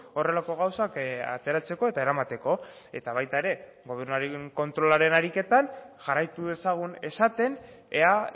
horrelako gauzak ateratzeko eta eramateko eta baita ere gobernuaren kontrolaren ariketan jarraitu dezagun esaten ea